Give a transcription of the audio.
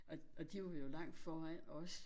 Og og de var jo langt foran os